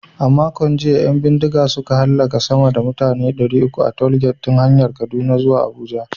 A makon jiya, 'yan bindiga suka hallaka sama da mutane ɗari uku a tollgate ɗin hanyar Kaduna zuwa Abuja.